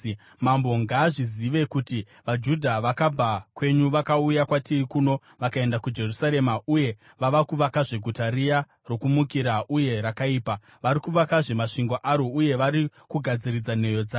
Mambo ngaazvizive kuti vaJudha vakabva kwenyu vakauya kwatiri kuno vakaenda kuJerusarema uye vava kuvakazve guta riya rokumukira uye rakaipa. Vari kuvakazve masvingo aro uye vari kugadziridza nheyo dzayo.